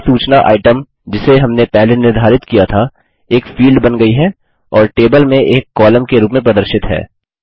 प्रत्येक सूचना आइटम जिसे हमने पहले निर्धारित किया था एक फील्ड बन गयी है और टेबल में एक कॉलम के रूप में प्रदर्शित है